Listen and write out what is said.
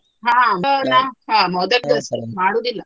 ಹ ಹ ಮೋದಕಸ ಮಾಡುದಿಲ್ಲ.